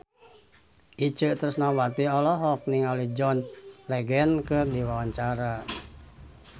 Itje Tresnawati olohok ningali John Legend keur diwawancara